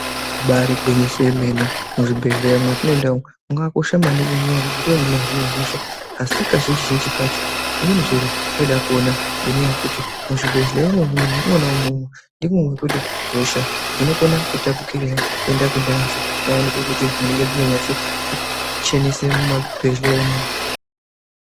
Ibari gwinyiso remene muzvibhedhlera mwatinienda umu makakosha maningi nekuti ndimwo munohinwa hosha asi kazhinji zhinji kacho zvimweni zviro zvinoda kuona ngenyaya yekuti muzvibhedhlera imomo mwona imwomwo ndimwo mwekuti hosha dzino kona tapurirwana kuenda kune antu payani pekuti munenge musina kunyaso chenesa muzvibhedhlera imomo.